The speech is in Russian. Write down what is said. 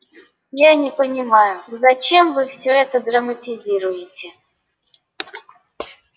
я не понимаю зачем вы всё это драматизируете